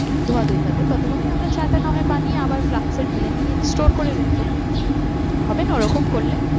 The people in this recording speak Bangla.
ধুয়াধুই থাকবে ততক্ষণে আমরা না হয় চাটা বানিয়ে আবার flast এ ঢেলে নিয়ে store করে নেব। হবে না ওরকম করলে?